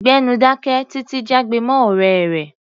Gbẹ́nu dáké! Títi jágbe mọ́ ọ̀rẹ́ rẹ̀.